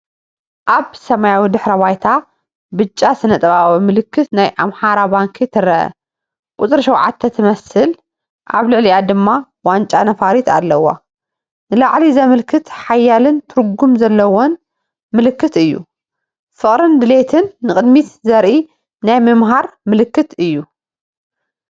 ኣብ ሰማያዊ ድሕረ ባይታ ብጫ ስነ-ጥበባዊ ምልክት ናይ ኣማራ ባንክ ትረአ። ቁጽሪ "7" ትመስል፡ ኣብ ልዕሊኣ ድማ ዋንጫ ነፋሪት ኣለዋ። ንላዕሊ ዘመልክት ሓያልን ትርጉም ዘለዎን ምልክት እዩ። ፍቕርን ድሌትን ንቕድሚት ዘርኢ ናይ ምምሃር ምልክት እዩ።